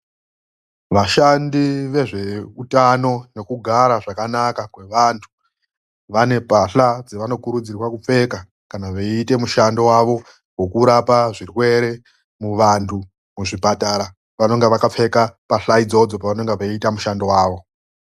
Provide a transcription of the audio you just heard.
VASHANDI VEZVEUTANO NEKUGARA ZVAKANAKA KWEVANHU VANE PAHLA DZAVANOKURUDZIRWA KUPFEKA ,KANA VEIITA MUSHANDO DZAVO KUVANHU MUZVIPATARA VECHIITE MUSHANDO WAVO.